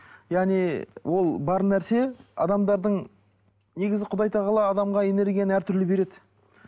яғни ол бар нәрсе адамдардың негізі құдай тағала адамға энергияны әртүрлі береді